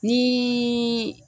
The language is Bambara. Ni